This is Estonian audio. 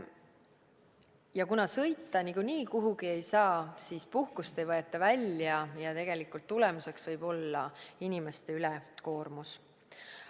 Ja kuna sõita niikuinii kuhugi ei saa, siis puhkust ei võeta välja ning tulemuseks võib olla inimeste ülekoormus.